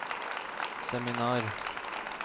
seminar